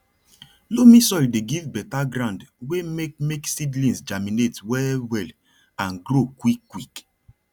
loamy soil dey give better ground wey make make seedlings germinate well well and grow quickquick